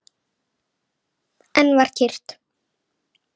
Enn var kyrrt.